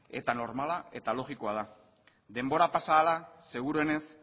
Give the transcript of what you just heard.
eta normala eta logikoa da denbora pasa ahala seguruenez